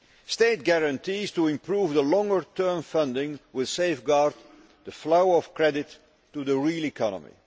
State guarantees to improve the longer term funding will safeguard the flow of credit to the real economy.